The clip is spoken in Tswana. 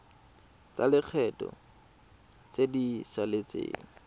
tsa lekgetho tse di saletseng